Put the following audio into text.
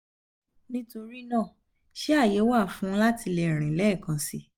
nitorina ṣe aye wa um fun lati le rin lẹẹkan si?